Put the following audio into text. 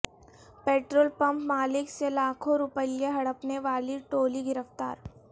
petrol pump مالک سے لاکھوں روپئے ہڑپنے والی ٹولی گرفتار